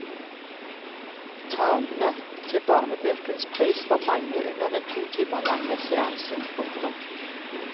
Talene til barnebøkenes pris var mange under den to timer lange seansen. punktum